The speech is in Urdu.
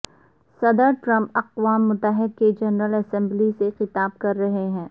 صدر ٹرمپ اقوام متحدہ کی جنرل اسمبلی سے خطاب کر رہے ہیں